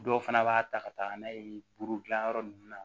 Dɔw fana b'a ta ka taga n'a ye buru dilan yɔrɔ nunnu na